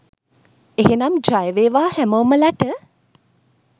එහෙමනම් ජය වේවා හැමෝමලට!